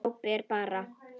Glápir bara.